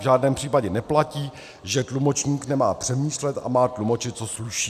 V žádném případě neplatí, že tlumočník nemá přemýšlet a má tlumočit, co slyší.